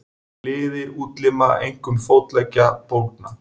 Liðir útlima, einkum fótleggja, bólgna.